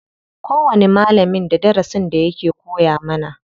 Kowani malamin da darasin da yake koya mana.